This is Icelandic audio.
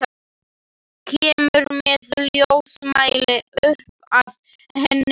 Kemur með ljósmæli upp að henni.